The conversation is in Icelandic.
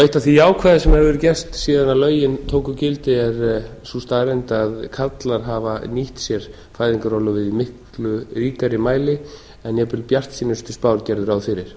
eitt af því jákvæða sem hefur verið gert síðan lögin tóku gildi er sú staðreynd að karlar hafa nýtt sér fæðingarorlofið í miklu ríkari mæli en jafnvel bjartsýnustu spár gerðu ráð fyrir